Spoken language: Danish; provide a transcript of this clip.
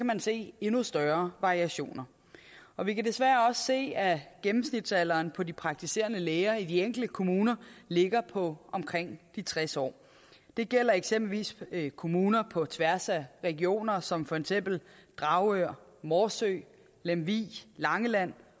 man se endnu større variationer og vi kan desværre også se at gennemsnitsalderen på de praktiserende læger i de enkelte kommuner ligger på omkring de tres år det gælder eksempelvis kommuner på tværs af regioner som for eksempel dragør morsø lemvig langeland